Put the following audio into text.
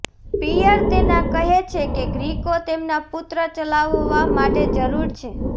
પિયર તેના કહે છે કે ગ્રીકો તેમના પુત્ર ચલાવવા માટે જરૂર છે